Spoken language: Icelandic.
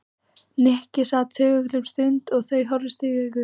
Nikki sat þögull um stund og þau horfðust í augu.